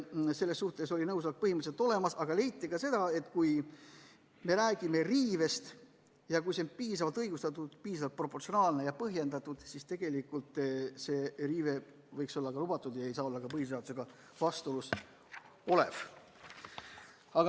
Selles suhtes oli nõusolek põhimõtteliselt olemas, aga leiti ka seda, et kui me räägime riivest ja kui see on piisavalt õigustatud, piisavalt proportsionaalne ja põhjendatud, siis tegelikult võiks see riive olla lubatud ega saaks olla põhiseadusega vastuolus.